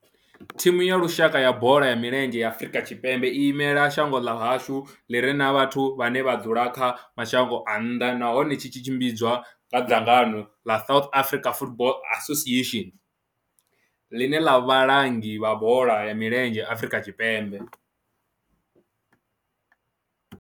Thimu ya lushaka ya bola ya milenzhe ya Afrika Tshipembe i imela shango ḽa hashu ḽi re na vhathu vhane vha dzula kha mashango a nnḓa nahone tshi tshimbidzwa nga dzangano ḽa South African Football Association, ḽine ḽa vha vhalangi vha bola ya milenzhe Afrika Tshipembe.